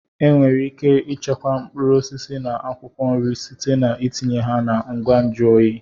Enwere ike ichekwa mkpụrụ osisi na akwụkwọ nri site na itinye ha na ngwa nju oyi.